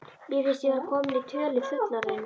Mér fannst ég vera komin í tölu fullorðinna.